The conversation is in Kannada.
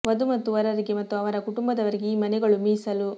ವಧು ಮತ್ತು ವರರಿಗೆ ಮತ್ತು ಅವರ ಕುಟುಂಬದವರಿಗೆ ಈ ಮನೆಗಳು ಮೀಸಲು